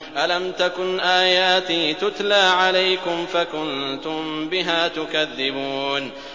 أَلَمْ تَكُنْ آيَاتِي تُتْلَىٰ عَلَيْكُمْ فَكُنتُم بِهَا تُكَذِّبُونَ